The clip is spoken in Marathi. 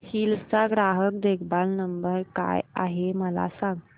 हिल्स चा ग्राहक देखभाल नंबर काय आहे मला सांग